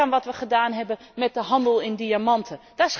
Denk aan wat wij gedaan hebben met de handel in diamanten.